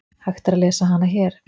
Hægt er að lesa hana hér.